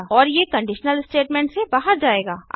और ये conditional statement से बाहर जायेगा